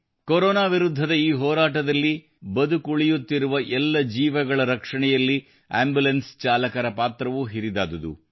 corona ವಿರುದ್ಧದ ಈ ಹೋರಾಟದಲ್ಲಿ ಬದುಕುಳಿಯುತ್ತಿರುವ ಎಲ್ಲ ಜೀವಗಳ ರಕ್ಷಣೆಯಲ್ಲಿ ಆಂಬುಲೆನ್ಸ್ ಚಾಲಕರ ಪಾತ್ರವೂ ಹಿರಿದಾದುದು